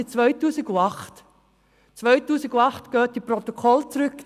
Gehen Sie in den Protokollen zurück.